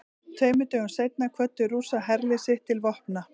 Tveimur dögum seinna kvöddu Rússar herlið sitt til vopna.